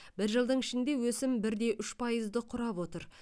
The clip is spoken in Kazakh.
бір жылдың ішінде өсім бір де үш пайызды құрап отыр